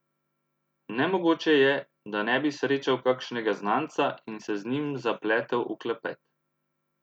Nemogoče je, da ne bi srečal kakšnega znanca in se z njim zapletel v klepet.